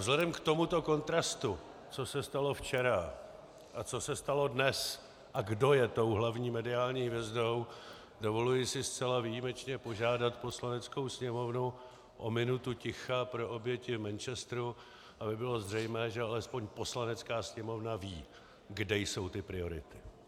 Vzhledem k tomuto kontrastu, co se stalo včera a co se stalo dnes a kdo je tou hlavní mediální hvězdou, dovoluji si zcela výjimečně požádat Poslaneckou sněmovnu o minutu ticha pro oběti v Manchesteru, aby bylo zřejmé, že alespoň Poslanecká sněmovna ví, kde jsou ty priority.